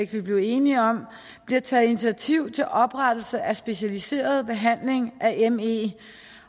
vi blev enige om bliver taget initiativ til oprettelse af specialiseret behandling af me